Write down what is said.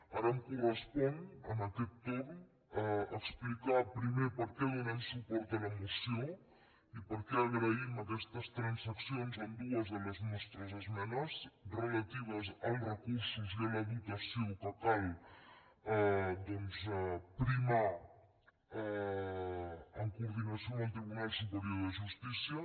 ara em correspon en aquest torn explicar primer per què donem suport a la moció i per què agraïm aquestes transaccions en dues de les nostres esmenes relatives als recursos i a la dotació que cal doncs primar en coordinació amb el tribunal superior de justícia